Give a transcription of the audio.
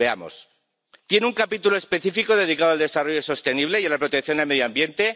Veamos, ¿tiene un capítulo específico dedicado al desarrollo sostenible y a la protección del medio ambiente?